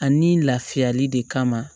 Ani lafiyali de kama